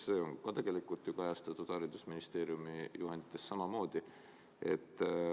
See on ka tegelikult ju kajastatud haridusministeeriumi juhendites samamoodi.